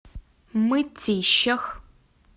мытищах